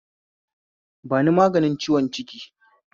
Bani maganin ciwon ciki